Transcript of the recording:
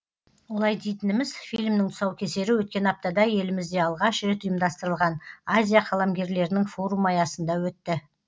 олай дейтініміз фильмнің тұсаукесері өткен аптада елімізде алғаш рет ұйымдастырылған азия қаламгерлерінің форумы аясында өтті